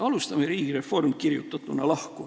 Alustame riigi reformist, lahku kirjutatuna.